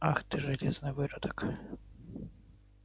ах ты железный выродок